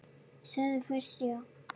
Segðu fyrst já!